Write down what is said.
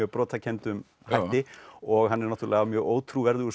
brotakenndum hætti og hann er náttúrulega mjög ótrúverðugur